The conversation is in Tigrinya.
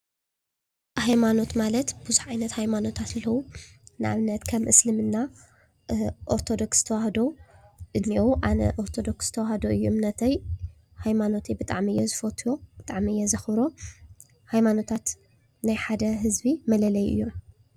ሃይምኖት ማለት ብዙሕ ዓይነት ሃይማኖታት አለዉ። ንአብነት ከም እስልምና፣ ኦርትዶክስ ተዋህዶ እንኤዉ። አነ ኦርተዶክስ ተዋህዶ እዩ እምነተይ። ሃይማኖተይ ብጣዕሚ እየ ዝፈቱ። ብጣዕሚ እየ ዘክብሮ። ሃይማኖታት ናይ ሓደ ህዝቢ መለለዪ እዩ።